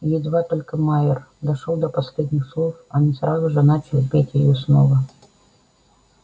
и едва только майер дошёл до последних слов они сразу же начали петь её снова